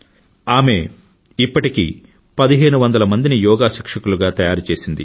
ఆమె ఇప్పటికి పదిహేను వందల మందిని యోగా శిక్షకులుగా తయారు చేసింది